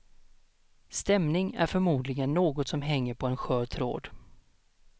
Stämning är förmodligen något som hänger på en skör tråd.